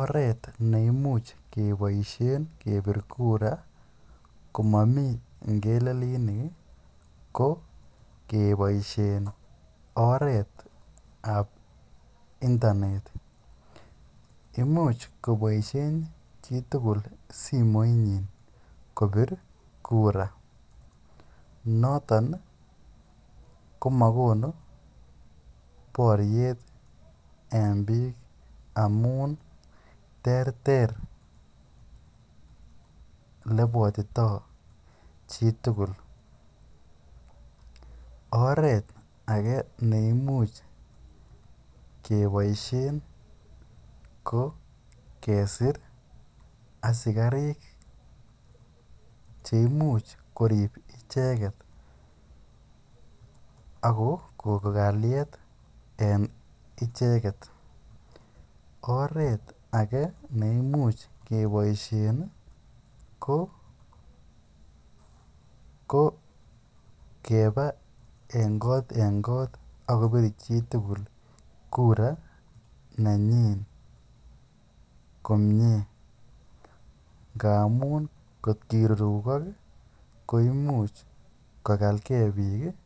Oret neimuch keboisien kepir kura, komami kipngelelinik ko keboisien oret ap internet. Imuch koboisien chitugul simoit ni kopir kura. Noton komakonu boryet en biik amun ter ter olebwatitoi chitugul. Oret age neimuch keboisien, ko kesir asikarik che imuch korip icheket ako ko-kalyet en icheket. Oret age neimuch keboisien ko ko keba en kot en kot akopir chi tugul kura nenyin komyee. Nga amun kot kirurukok koimuch kokalkey biik